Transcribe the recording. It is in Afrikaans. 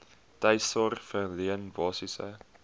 tuissorg verleen basiese